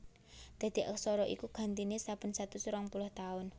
Dadi aksara iku gantiné saben satus rong puluh taun